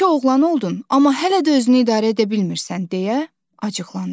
Yekə oğlan oldun, amma hələ də özünü idarə edə bilmirsən, deyə acıqlandı.